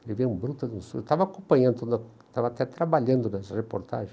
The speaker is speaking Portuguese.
Levei um bruto de um susto, eu estava acompanhando, estava até trabalhando nessa reportagem.